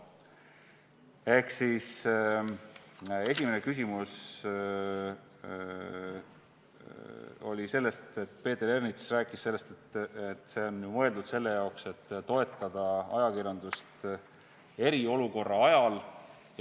Esimeses küsimuses Peeter Ernits rääkis sellest, et see on ju mõeldud selle jaoks, et toetada ajakirjandust eriolukorra ajal.